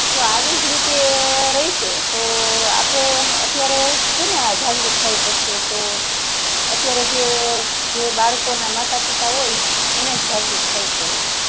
જો આવીજ રીતે રહેશે તોહ આપડે અત્યારે કેને જાગૃત થઉં પડશે તો અત્યારે જે બાળકો ના માતા પિતા હોય એને જ જાગૃત થાવું પડે